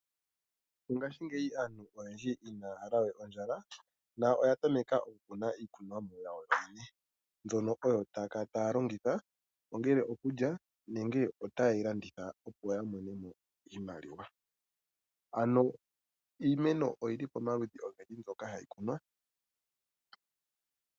Mongashingeyi aantu oyendi inaya hala we ondjala no oya tameka okukuna iikunomwa yawo mbyono oyo taya kala taya longitha ongele okulya nenge otaye yi landitha opo yamonemo iimaliwa. Ano iimeno oyili pomaludhi ogendji mbyono hayi kunwa.